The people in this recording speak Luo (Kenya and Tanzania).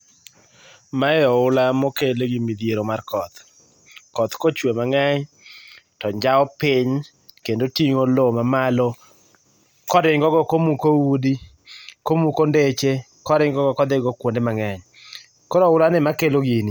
Mae ohula mokel gi midhiero mar koth. Koth kochwe mang'eny to njao piny kendo ting'o loo mamalo koringo go komuko udi , komuko ndeche, koringo go kodhigo kuonde mang'eny. Koro ohula ni ema kelo gini.